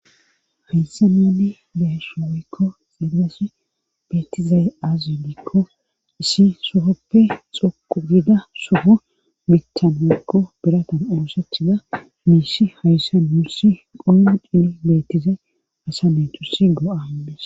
hayssa naani behesho oykko xeelless beettizay azudikko issi sohoppe xoqu gida soho mithanakko biratan oossachida miishi hayssan wursi qomu chini beettizay asa netusi go7a indes